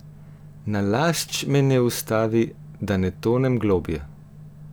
Nalašč me ne ustavi, da ne tonem globlje!